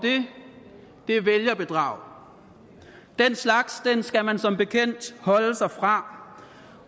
det er vælgerbedrag den slags skal man som bekendt holde sig fra